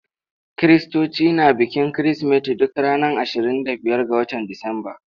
Kiristoci na bikin Kirsimeti duk ranar ashirin da biyar ga watan Disamba.